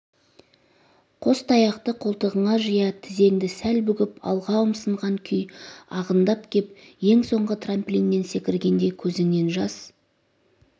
қос таяқты қолтығыңа жия тізеңді сәл бүгіп алға ұмсынған күй ағындап кеп ең соңғы трамплиннен секіргенде көзіңнен жас